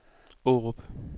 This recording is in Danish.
Aarup